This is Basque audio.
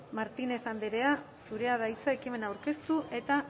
martínez andrea zurea da hitza ekimen aurkeztu eta